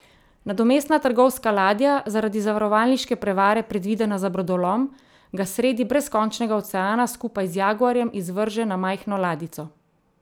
Nadomestna trgovska ladja, zaradi zavarovalniške prevare predvidena za brodolom, ga sredi brezkončnega oceana skupaj z jaguarjem izvrže na majhno ladjico.